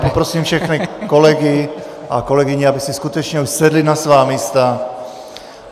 Poprosím všechny kolegy a kolegyně, aby si skutečně už sedli na svá místa.